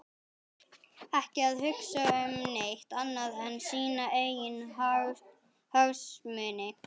Ekki að hugsa um neitt annað en sína eigin hagsmuni!